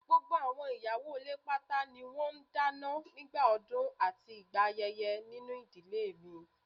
Gbogbo àwọn ìyàwó ilé pátá ni wọ́n ń dáná nígbà ọdún àti ìgbà ayẹyẹ nínú ìdílé mi